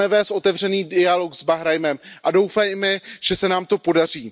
Chceme vést otevřený dialog s Bahrajnem a doufejme, že se nám to podaří.